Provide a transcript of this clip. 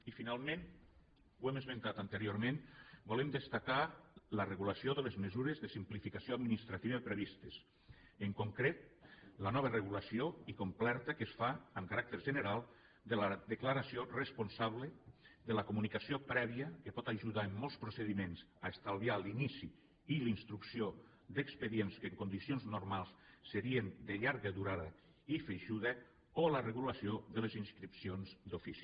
i finalment ho hem esmentat anteriorment volem destacar la regulació de les mesures de simplificació administrativa previstes en concret la nova regulació i completa que es fa amb caràcter general de la declaració responsable de la comunicació prèvia que pot ajudar en molts procediments a estalviar l’inici i la instrucció d’expedients que en condicions normals serien de llarga durada i feixuga o la regulació de les inscripcions d’ofici